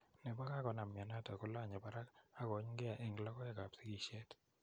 Nepo kakonam mionot kolanye barak aka kouny' gee end logoek ap sigishet.